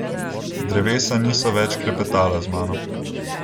Drevesa niso več klepetala z mano.